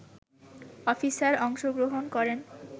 officer অংশগ্রহণ করেন